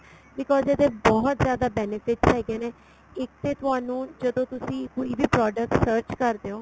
because ਇਹਦੇ ਬਹੁਤ benefits ਹੈਗੇ ਨੇ ਇੱਕ ਤੇ ਤੁਹਾਨੂੰ ਜਦੋ ਤੁਸੀਂ ਕੋਈ product search ਕਰਦੇ ਓ